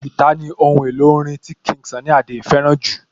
Guitar ní ohun èlò orin tí King Sunny Adé fẹ́ràn jù